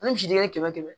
Ani misiden kɛmɛ kɛmɛ